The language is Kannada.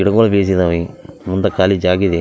ಇಡ್‌ಗೋಲು ಬೀಸಿದಾವೆ ಮುಂದಕ್ಕ್‌ ಕಾಲಿ ಜಾಗ ಇದೆ.